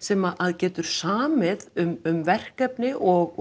sem að getur samið um verkefni og